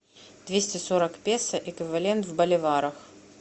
двести сорок песо эквивалент в боливарах